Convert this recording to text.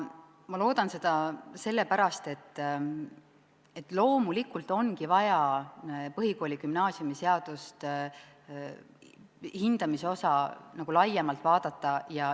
Ma loodan seda sellepärast, et põhikooli- ja gümnaasiumiseaduse hindamise osa ongi vaja laiemalt vaadata.